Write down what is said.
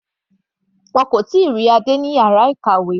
Wọn kò tíì rán Adé lọ sí yàrá ìkàwé.